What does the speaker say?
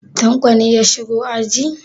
Tanko ne ya shigo aji?